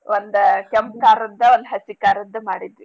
ಒಂದ ಕೆಂಪ್ ಕಾರದ್ದ್ ಒಂದ್ ಹಸಿ ಕಾರದ್ದ್ ಮಾಡಿದ್ವಿ.